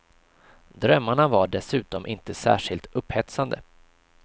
Drömmarna var dessutom inte särskilt upphetsande.